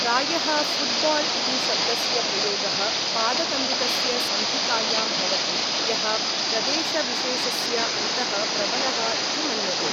प्रायः फुट्बाल् इति शब्दस्य प्रयोगः पादकन्दुकस्य संहितायां भवति यः प्रदेशविशेषस्य अन्तः प्रबलः इति मन्यते।